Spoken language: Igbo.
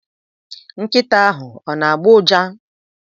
Nkịta ahụ ona-agbọ ụja?